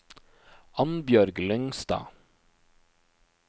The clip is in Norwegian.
Annbjørg Lyngstad